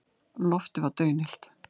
Loftið var daunillt.